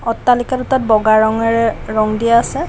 অট্টালিকা দুটাত বগা ৰঙেৰে ৰঙ দিয়া আছে।